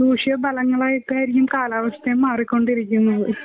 ദോഷ പലങ്ങളായിട്ടായിരിക്കും കാലാവസ്ഥയും മാറിക്കൊണ്ടിരിക്കുന്നത്.